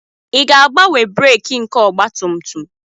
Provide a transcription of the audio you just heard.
Ị ga-agbanwe breeki nke ọgba tum tum?